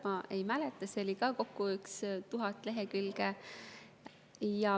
Ma ei mäleta seda, seda oli kokku umbes tuhat lehekülge.